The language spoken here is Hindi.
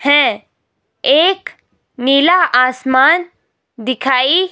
है एक नीला आसमान दिखाई--